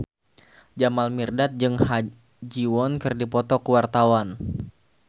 Jamal Mirdad jeung Ha Ji Won keur dipoto ku wartawan